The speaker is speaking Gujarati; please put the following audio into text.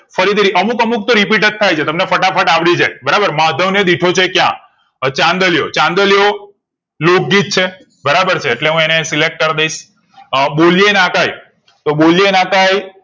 ફરીથી અમુક અમુક તો repeat થાયછે તમને ફટાફટ અવળી જાય બરાબર માધવ ને દીઠો છે ક્યાં? અ ચાંદલિયો ચાંદલિયો લોક ગીતા છે બરાબર છે એટલે અને હું select કરીદઈશ અ બોલેએ ના કઈયે તો બોલેએ ના કઈયે